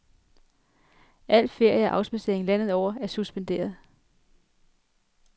Al ferie og afspadsering landet over er suspenderet.